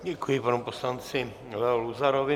Děkuji panu poslanci Leo Luzarovi.